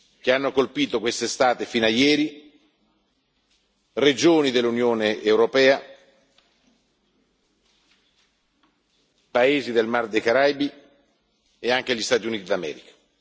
che hanno colpito quest'estate, fino a ieri, regioni dell'Unione europea, paesi del Mar dei Caraibi e anche gli Stati Uniti d'America.